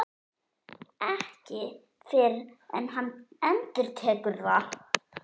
Ekki fyrr en hann endurtekur það.